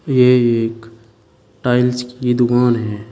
ये एक टाइल्स की दुकान है।